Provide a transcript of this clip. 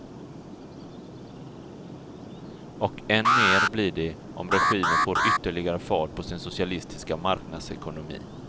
Och än mer blir det om regimen får ytterligare fart på sin socialistiska marknadsekonomi.